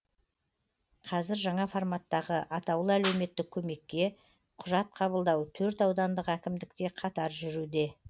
қазір жаңа форматтағы атаулы әлеуметтік көмекке құжат қабылдау төрт аудандық әкімдікте қатар жүруде